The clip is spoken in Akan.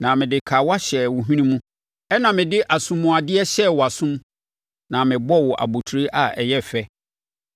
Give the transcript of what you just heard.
na mede kawa hyɛɛ wo hwene mu, ɛnna mede asomuadeɛ hyɛɛ wʼasom na mebɔɔ wo abotire a ɛyɛ fɛ.